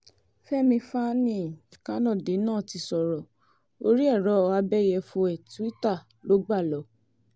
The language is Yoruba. fẹ̀mí fani-kanode náà ti sọ̀rọ̀ orí ẹ̀rọ abẹ́yẹfọ ẹ̀ twitter ló gbà lọ